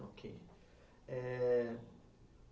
Ok. Eh